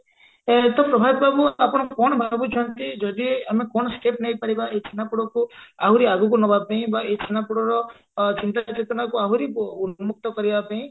ଏ ତ ପ୍ରଭାତ ବାବୁ ଆପଣ କଣ ଭାବୁଛନ୍ତି ଯଦି ଆମେ କଣ step ନେଇପାରିବା ଏଇ ଛେନାପୋଡକୁ ଆହୁରି ଆଗକୁ ନବାପାଇଁ ବା ଏଇ ଛେନାପୋଡର ଚିନ୍ତା ଓ ଚେତନାକୁ ଆହୁରି ଉନ୍ମୁକ୍ତ କରିବା ପାଇଁ